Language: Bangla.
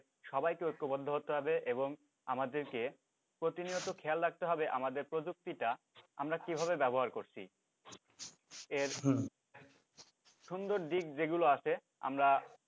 সবাইকে ঐক্যবদ্ধ হতে হবে এবং আমাদেরকে প্রতিনিয়ত খেয়াল রাখতে হবে আমাদের প্রযুক্তি টা আমরা কিভাবে ব্যাবহার করছি এর সুন্দর দিক যেগুলো আছে আমরা